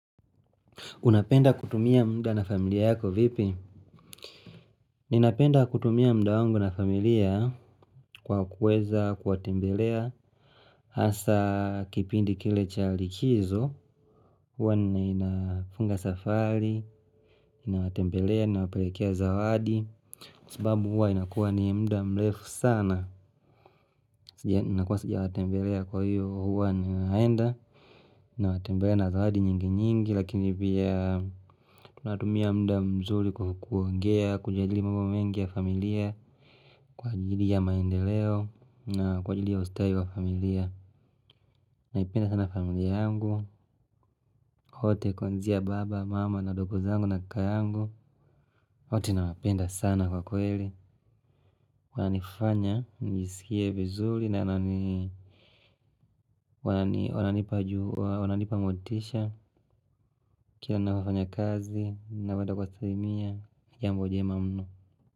Unapenda kutumia muda na familia yako vipi? Ninapenda kutumia muda wangu na familia kwa kuweza, kuwatembelea. Hasa kipindi kile cha likizo, huwa ninafunga safari, ninawatembelea, ninawatembelea ninawapelekea zawadi. Sababu huwa inakuwa ni muda mrefu sana. Inakuwa sijawatembelea kwa hiyo huwa ninaenda. Natembea na zawadi nyinginyingi lakini pia tunatumia muda mzuri kwa kuongea kujadili mambo mengi ya familia kwa ajili ya maendeleo na kwa ajili ya ustawi wa familia. Naipenda sana familia yangu, wote kuanzia baba, mama, na wadogo zangu na kaka yangu. Wote nawapenda sana kwa kweli inanifanya niskie vizuri na wananipa motisha. Kila na wafanya kazi, na wenda kwa salimia ya mudie ma mnu.